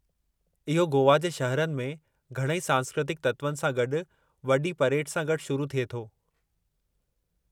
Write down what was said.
इहो गोवा जे शहरनि में घणई सांस्कृतिक तत्वनि सां गॾु वॾी परेड सां गॾु शुरू थिए थो।